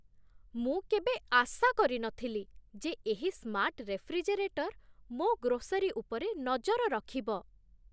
ମୁଁ କେବେ ଆଶା କରିନଥିଲି ଯେ ଏହି ସ୍ମାର୍ଟ ରେଫ୍ରିଜେରେଟର୍ ମୋ ଗ୍ରୋସରୀ ଉପରେ ନଜର ରଖିବ!